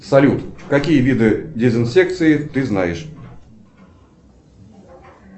салют какие виды дезинсекции ты знаешь